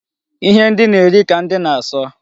Ihe ndi na-eri ka ndị na-asọ.